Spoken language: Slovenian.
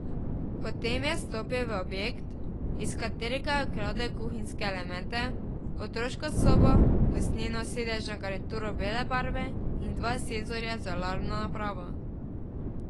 Potem je vstopil v objekt, iz katerega je ukradel kuhinjske elemente, otroško sobo, usnjeno sedežno garnituro bele barve in dva senzorja z alarmno napravo.